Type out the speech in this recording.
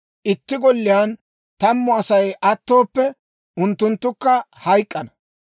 Itti golliyaan tammu Asay attooppe, unttunttukka hayk'k'ana.